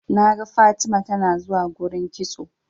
naga Fatima tanazuwa gurin kitso